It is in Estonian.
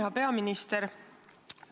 Hea peaminister!